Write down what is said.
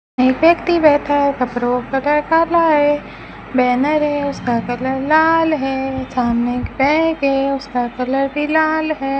एक व्यक्ति बैठा है कपड़ों का कलर काला है बैनर है उसका कलर लाल है सामने एक बैग है उसका कलर भी लाल है।